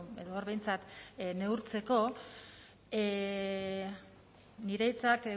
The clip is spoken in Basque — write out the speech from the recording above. edo hor behintzat neurtzeko nire hitzak